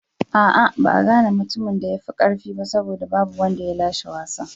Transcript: A'a, ba a gane mutumin da ya fi karfi ba saboda babu wanda ya lashe wasan.